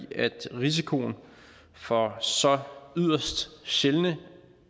risikoen for så yderst sjældne